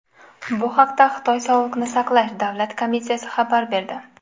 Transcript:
Bu haqda Xitoy Sog‘liqni saqlash davlat komissiyasi xabar berdi .